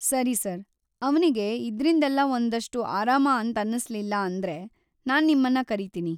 ಸರಿ ಸರ್‌, ಅವ್ನಿಗೆ ಇದ್ರಿಂದೆಲ್ಲ ಒಂದಷ್ಟು ಆರಾಮ ಅಂತನ್ನಿಸ್ಲಿಲ್ಲ ಅಂದ್ರೆ, ನಾನ್‌ ನಿಮ್ಮನ್ನ ಕರೀತೀನಿ.